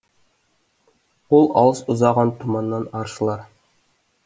ол алыс ұзаған тұманнан аршылар